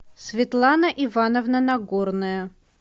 светлана ивановна нагорная